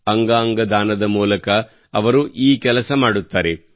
ಅಂಗಾಂಗ ದಾನದ ಮೂಲಕ ಅವರು ಈ ಕೆಲಸ ಮಾಡುತ್ತಾರೆ